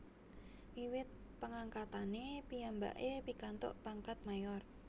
Wiwit pengangkatane piyambake pikantuk pangkat Mayor